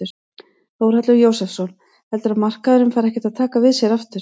Þórhallur Jósefsson: Heldurðu að markaðurinn fari ekkert að taka við sér aftur?